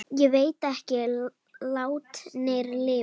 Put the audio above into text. Ég veit að látnir lifa.